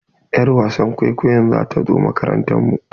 Y'ar wasan kwaikwayon za ta zo makarantar mu.